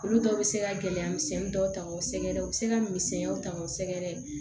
Olu dɔw bɛ se ka gɛlɛya misɛn dɔw ta o sɛgɛrɛ u bɛ se ka misɛnya ta k'o sɛgɛrɛ